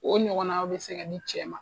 O ɲɔgɔn na bɛ se ka di cɛ ma.